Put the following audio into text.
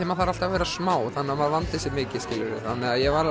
maður þarf alltaf að vera smá þannig að maður vandi sig mikið þannig að ég var